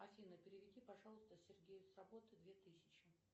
афина переведи пожалуйста сергею с работы две тысячи